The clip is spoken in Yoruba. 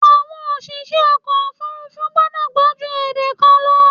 Àwọn òṣìṣẹ́ ọkọ̀ òfúrúfú gbọ́dọ̀ gbọ́ ju èdè kan lọ.